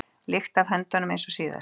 lykt af höndunum eins og síðast.